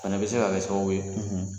A fana bɛ se ka kɛ sababuw ye, .